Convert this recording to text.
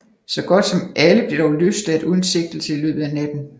Så godt som alle blev dog løsladt uden sigtelse i løbet af natten